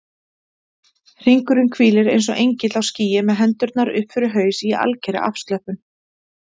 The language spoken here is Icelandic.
Hringur hvílir eins og engill á skýi með hendurnar upp fyrir haus í algerri afslöppun.